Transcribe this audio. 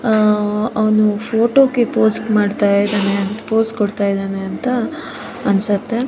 ಆಹ್ಹ್ ಅವನು ಫೋಟೋ ಗೆ ಪೋಸ್ ಮಾಡ್ತಾ ಇದ್ದಾನೆ ಪೋಸ್ ಕೊಡ್ತಾ ಇದ್ದಾನೆ ಅನ್ಸುತ್ತೆ.